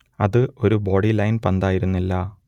അത് ഒരു ബോഡിലൈൻ പന്തായിരുന്നില്ല